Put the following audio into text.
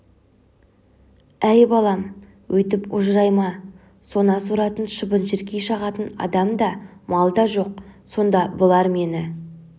әй балам өйтіп ожырайма сона соратын шыбын-шіркей шағатын адам да мал да жоқ сонда бұлар мені